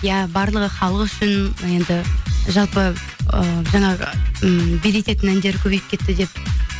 иә барлығы халық үшін енді жалпы ы жаңағы м билететін әндер көбейіп кетті деп